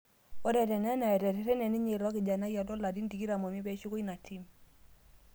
Ore tenena etererene ninye ilo kijanai loo larin 25 peeshuko ina tim